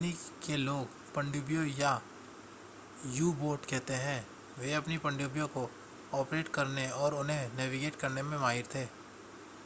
Germany के लोग पनडुब्बियों को यू-बोट कहते थे वे अपनी पनडुब्बियों को ऑपरेट करने और उन्हें नेविगेट करने में माहिर थे